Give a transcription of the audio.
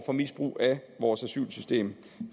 for misbrug af vores asylsystem